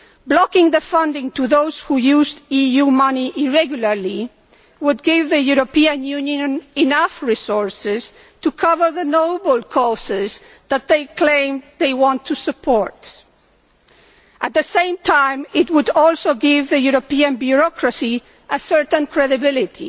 Blocking funding for those who used EU money irregularly would give the European Union enough resources to cover the noble causes that it claims it wants to support. At the same time, it would also give the European bureaucracy a certain degree of credibility.